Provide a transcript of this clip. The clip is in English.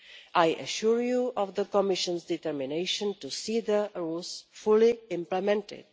I assure you of the Commission's determination to see the rules fully implemented.